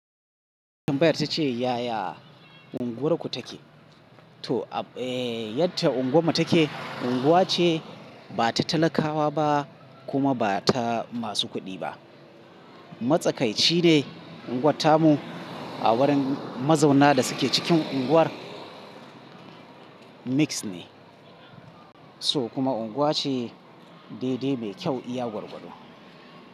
Tumbayar ta ce yaya unguwar ku take? To, eh yacce unguwam mu take, unguwa ce ba ta talakawa ba kuma ba ta masu kuɗi ba. Matsakaici ne unguwat tamu, a wurin mazauna da suke cikin unguwar mix ne, so kuma unguwa ce daidai mai kyau iya gwargwado.